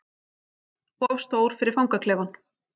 Of stór fyrir fangaklefann